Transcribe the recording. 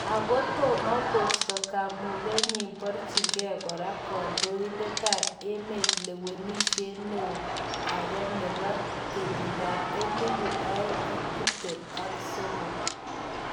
Ako tomokosto kamuget nyin koborchige kora kondoidet ab emet lewenishet neo ake nebo 2023.